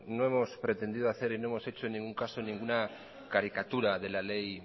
no hemos pretendido hacer y no hemos hecho en ningún caso en ninguna caricatura de la ley